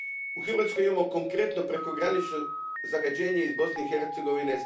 U Hrvatskoj imamo konkretno prekogranično zagađenje iz Bosne i Hercegovine.